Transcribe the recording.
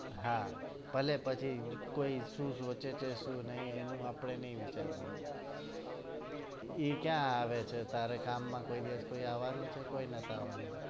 હા ભલે પછી કોઈ શું સોચે છે શું નઈ એનું આપડે નઈ વિચારવાનું ઇ ક્યાં આવે છે તારે કામમાં કોઈ દિવસ કોઈ આવવાનું છે કોઈ નથી આવવાનું